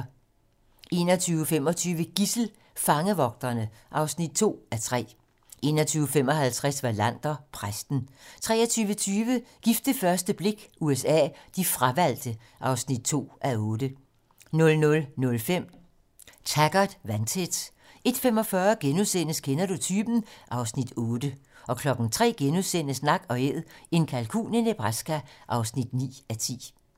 21:25: Gidsel: Fangevogterne (2:3) 21:55: Wallander: Præsten 23:20: Gift ved første blik USA: De fravalgte (2:8) 00:05: Taggart: Vandtæt 01:45: Kender du typen? (Afs. 8)* 03:00: Nak & Æd - en kalkun i Nebraska (9:10)*